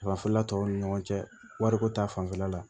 Fan fila tɔw ni ɲɔgɔn cɛ wariko ta fanfɛla la